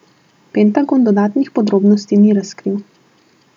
Pentagon dodatnih podrobnosti ni razkril.